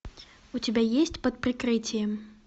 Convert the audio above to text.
у тебя есть под прикрытием